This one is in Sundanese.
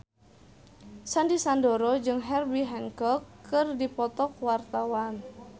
Sandy Sandoro jeung Herbie Hancock keur dipoto ku wartawan